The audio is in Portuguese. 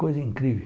Coisa incrível.